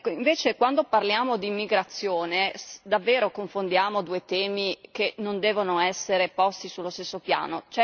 Invece, quando parliamo di immigrazione, confondiamo davvero due temi che non devono essere posti sullo stesso piano.